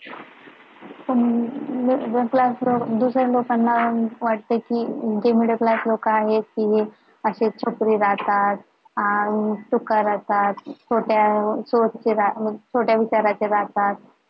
दुसऱ्यांदा सांगणार अहो वाटते कि जे middle class मिळत नाही लोकांना असेच छपरी राहतात अं छोट्या विचाराचे राहतात